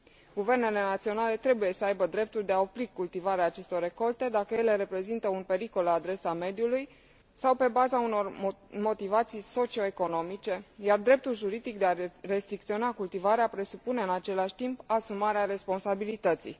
Guvernele naționale trebuie să aibă dreptul de a opri cultivarea acestor recolte dacă ele reprezintă un pericol la adresa mediului sau pe baza unor motivații socio economice, iar dreptul juridic de a restricționa cultivarea presupune, în același timp, asumarea responsabilității.